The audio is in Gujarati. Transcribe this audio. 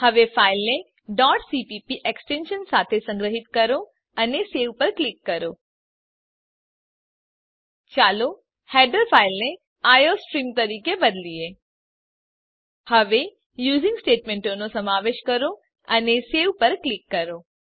હવે ફાઈલને cpp એક્સટેંશન સાથે સંગ્રહીત કરો અને સવે પર ક્લિક કરો ચાલો હેડર ફાઈલને આઇઓસ્ટ્રીમ તરીકે બદલીએ હવે યુઝિંગ સ્ટેટમેંટનો સમાવેશ કરો અને સવે પર ક્લિક કરો